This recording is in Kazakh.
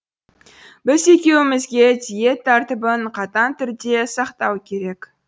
біз екеуімізге диет тәртібін қатаң түрде сақтау керек